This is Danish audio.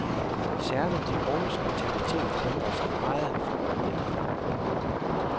Særligt de unges mentalitet ændrer sig meget for øjeblikket.